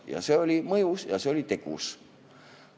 Ja see oli mõjus, pani tegutsema.